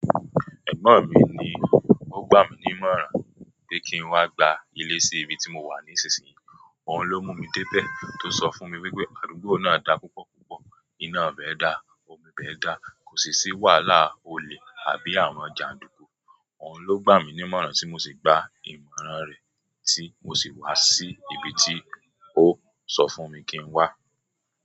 Ẹ̀gbọ́n mi ni ó gbà mí ní ìmọ̀ràn pé kí n wá gba ilé sí ibi tí mo wà nísinsìnyí. Òun ló mú mi dé bẹ̀ tó sọ fún mi wípé àdúgbò náà dá púpọ̀ púpọ̀, iná bẹ́ dá, omi bẹ́ dá, kò sì sí wàhálà olè àbí àwọn jà ń dúnkú. Òun ló gbà mí ní ìmọ̀ràn tí mo sì gba ìmọ̀ràn rẹ̀, tí mo sì wá sí ibi tí ó sọ fún mi kí n wá.